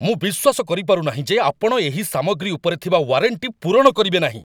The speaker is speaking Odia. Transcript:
ମୁଁ ବିଶ୍ୱାସ କରିପାରୁ ନାହିଁ ଯେ ଆପଣ ଏହି ସାମଗ୍ରୀ ଉପରେ ଥିବା ୱାରେଣ୍ଟି ପୂରଣ କରିବେ ନାହିଁ।